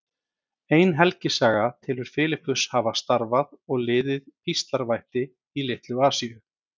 Ein helgisaga telur Filippus hafa starfað og liðið píslarvætti í Litlu-Asíu.